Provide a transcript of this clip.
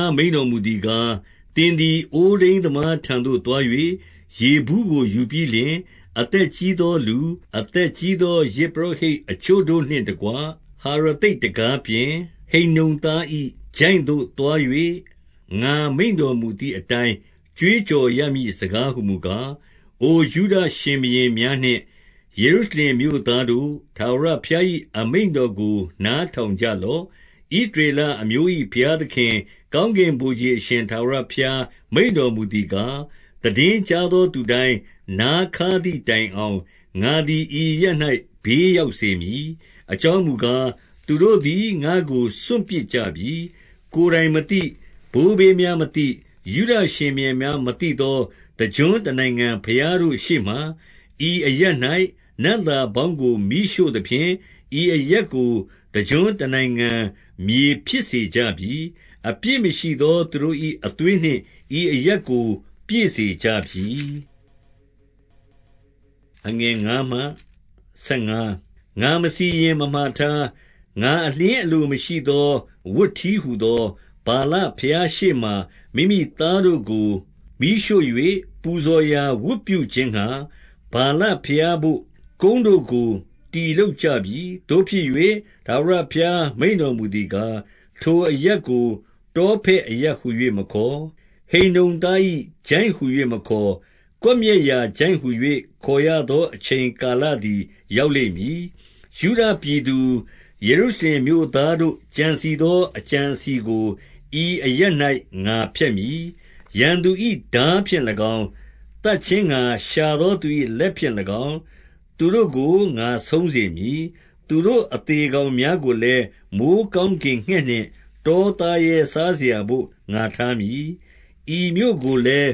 ားမိန့်တော်မူသည်ကား၊ သင်သည် အိုးထိန်းသမားထံသို့ သွား၍ ရေဘူးကိုယူပြီးလျှင်၊ အသက် ကြီးသော လူ၊ အသက်ကြီးသော ယဇ်ပုရောဟိတ် အချို့ တို့နှင့်တကွ၊ 2 ဟရသိတ်တံခါးပြင်၊ ဟိန္နုံသား၏ ချိုင့်သို့သွား၍၊ ငါမိန့်တော်မူသည်အတိုင်း ကြွေးကြော်ရမည့်စကား ဟူမူကား၊ 3 အိုယုဒရှင်ဘုရင်များနှင့် ယေရုရှလင်မြို့သား များတို့၊ ထာဝရဘုရား၏ အမိန့်တော်ကို နားထောင်ကြ လော့။ ဣသရေလအမျိုး၏ ဘုရားသခင်၊ ကောင်းကင် ဗိုလ်ခြေအရှင် ထာဝရဘုရား မိန့်တော်မူသည်ကား၊ သိတင်းကြားသောသူတိုင်း နားခါးသည်တိုင်အောင်၊ ငါသည် ဤအရပ်၌ ဘေးရောက်စေမည်။ 4 အကြောင်းမူကား၊ သူတို့သည် ငါ့ကိုစွန့်ပစ်ကြ ပြီ။ ကိုယ်တိုင်မသိ၊ ဘိုးဘေးများမသိ၊ ယုဒရှင်ဘုရင်များ မသိသော တကျွန်းတနိုင်ငံ ဘုရားတို့ ရှေ့မှာ၊ ဤအရပ်၌ နံ့သာပေါင်းကို မီးရှို့သဖြင့်၊ ဤအရပ်ကို တကျွန်း တနိုင်ငံ မြေဖြစ်စေကြပြီ။ အပြစ်မရှိသော သူတို့၏ အသွေးနှင့် ဤအရပ်ကို ပြည့်စေကြပြီ။ 5 ငါမစီရင်မမှာထား၊ ငါအလျှင်းအလိုမရှိသော ဝတ်တည်းဟူသော၊ ဗာလဘုရားရှေ့မှာ မိမိသားတို့ကို မီးရှို့၍၊ ပူဇော်ရာ ဝတ်ပြုခြင်းငှါ၊ ဗာလဘုရားဘို့ ကုန်းတို့ကို တည်လုပ်ကြပြီ။ 6 သို့ဖြစ်၍၊ ထာဝရဘုရားမိန့်တော်မူသည်ကား၊ ထိုအရပ်ကို တောဖက်အရပ်ဟူ၍မခေါ်၊ ဟိန္နုံသား၏ ချိုင့်ဟူ၍မခေါ်၊ ကွပ်မျက်ရာ ချိုင့်ဟူ၍ခေါ်ရသော အချိန်ကာလသည် ရောက်လိမ့်မည်။ 7 ယုဒပြည်သူ ယေရုရှလင်မြို့သားတို့ ကြံစည် သော အကြံအစည်ကို ဤအရပ်၌ ငါဖျက်မည်။ ရန်သူ၏ ထားဖြင့်၎င်း၊ သတ်ခြင်းငှါ ရှာသောသူ၏ လက်ဖြင့်၎င်း၊ သူတို့ကို ငါဆုံးစေမည်။ သူတို့အသေကောင် များကိုလည်း မိုဃ်းကောင်းကင်ငှက်နှင့် တောသားရဲစားစရာဘို့ ငါထား မည်။ 8 ဤမြို့ကိုလည်း